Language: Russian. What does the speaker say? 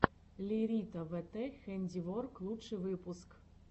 лерита вт хэндиворк лучший выпуск